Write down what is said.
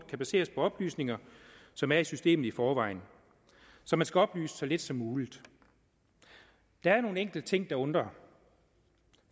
kan baseres på oplysninger som er i systemet i forvejen så man skal oplyse så lidt som muligt der er nogle enkelte ting der undrer